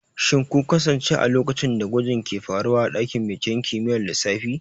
Shin kun kasance a lokacin da gwajin ke faruwa a dakin binciken kimiyyar lissafi?